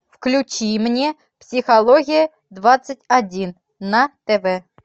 включи мне психология двадцать один на тв